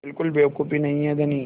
बिल्कुल बेवकूफ़ी नहीं है धनी